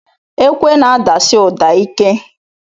Ekwe n'adasi ụda ike.